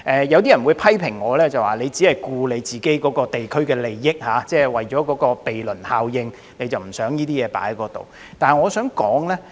有些人批評我只顧及自己代表的地區的利益，為了鄰避效應而不想這些東西在有關地區出現。